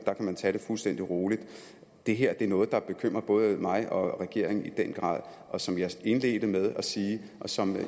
man tage det fuldstændig roligt det her er noget der grad bekymrer både mig og regeringen og som jeg indledte med at sige og som